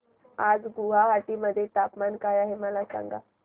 आज गुवाहाटी मध्ये तापमान काय आहे मला सांगा